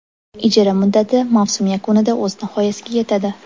Ijara muddati mavsum yakunida o‘z nihoyasiga yetadi.